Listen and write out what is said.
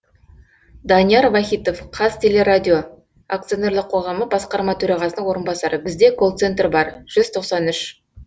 данияр вахитов қазтелерадио акционерлік қоғамы басқарма төрағасының орынбасары бізде колл центр бар жүз тоқсан үш